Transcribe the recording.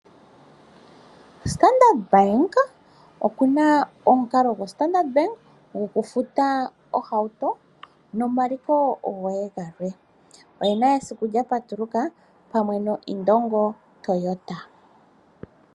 Standard Bank okuna omukalo gwokufuta ohauto nomaliko goye galwe. Oye na esiku lya patuluka pamwe noIndongo Toyota.